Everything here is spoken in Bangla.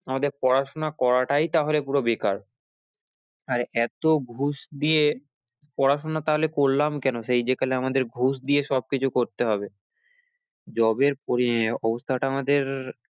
আমাদের পড়াশোনা করাটাই তাহলে পুরো বেকার আর এতো ঘুষ দিয়ে, পড়াশোনা তাহলে করলাম কেন সেই যেখানে আমাদের ঘুষ দিয়ে সব কিছু করতে হবে job এর অবস্থাটা আমাদের